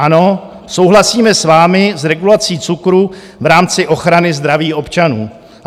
Ano, souhlasíme s vámi s regulací cukru v rámci ochrany zdraví občanů.